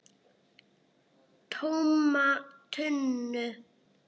TÓMA TUNNU!